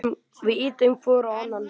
Við ýtum hvor á annan.